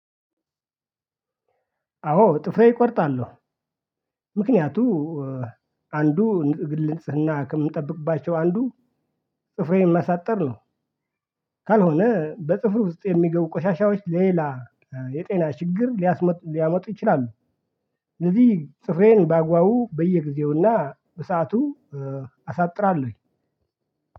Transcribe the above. አዎ ጥፍሬ እቆርጣለሁ ምክንያቱ አንዱ ግል ንጽህና ከምጠብቅባቸው አንዱ ጥፍሬን ማሳጠር ነው። ካልሆነ በጥፍር ውስጥ የሚገቡ ቆሻሻዎች ሌላ የጤና ችግር ሊያመጡ ይችላሉ። ስለዚህ ጥፍሬን ባግባቡ በየጊዜውና በሰአቱ አሳጥራለሁ።